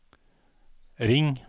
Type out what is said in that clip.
ring